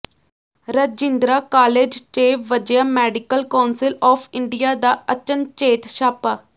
Rajindra college ਚ ਵਜਿਆ medical council of India ਦਾ ਅਚਨਚੇਤ ਛਾਪਾ